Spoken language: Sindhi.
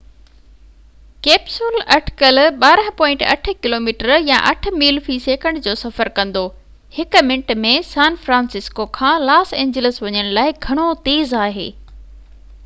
ڪيپسول اٽڪل 12.8 ڪلوميٽر يا 8 ميل في سيڪنڊ جو سفر ڪندو هڪ منٽ ۾ سان فرانسسڪو کان لاس اينجلس وڃڻ لاءِ گهڻو تيز آهي